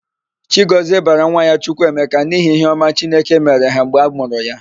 Chigọzie bara nwa ya Chukwuemeka n'ihi íhé ọma chineke mere ha mgbe amụrụ ya.